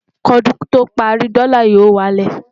kí ọdún tó párí, dòla yó wà lẹ